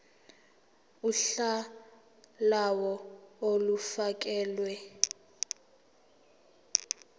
uhla lawo olufakelwe